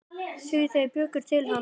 Því þeir bjuggu hann til.